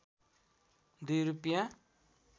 २ रूपैयाँ